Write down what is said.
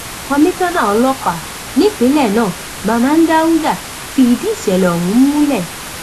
komisanna ọlọpàá nípìnlẹ náà manman dauda fìdí ìṣẹlẹ ọhún múlẹ